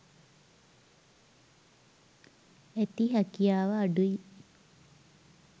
ඇති හැකියාව අඩුයි.